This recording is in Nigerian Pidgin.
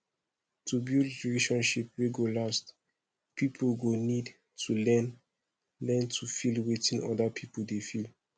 to build relationship wey go last pipo go need to learn learn to feel wetin oda pipo dey feel